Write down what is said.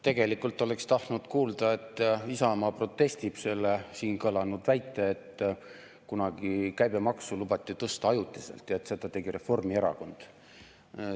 Tegelikult oleksin tahtnud kuulda, et Isamaa protestib selle siin kõlanud väite vastu, et kunagi käibemaksu lubati tõsta ajutiselt ja et seda tegi Reformierakond.